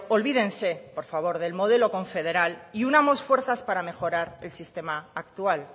olvídense por favor del modelo confederal y unamos fuerzas para mejorar el sistema actual